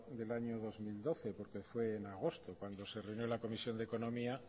del año dos mil doce porque fue en agosto cuando se reunió la comisión de economía